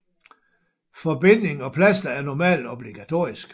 Forbinding og plaster er normalt obligatorisk